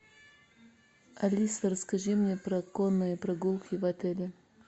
алиса расскажи мне про конные прогулки в отеле